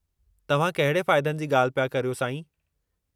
तव्हां कहिड़े फ़ाइदनि जी ॻाल्हि पिया करियो, साईं?